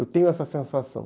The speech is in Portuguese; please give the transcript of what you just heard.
Eu tenho essa sensação.